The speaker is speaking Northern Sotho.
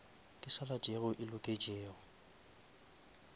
ke salad yeo e loketšego